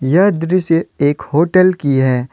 यह दृश्य एक होटल की है।